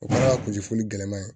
O kɛra kunfoli gɛlɛman ye